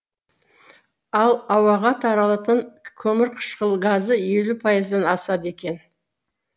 ал ауаға таралатын көмірқышқыл газы елу пайыздан асады екен